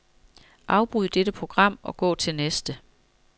Afbryd dette program og gå til næste.